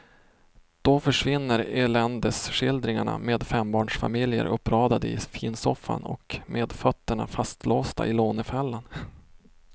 Då försvinner eländesskildringarna med fembarnsfamiljer uppradade i finsoffan och med fötterna fastlåsta i lånefällan.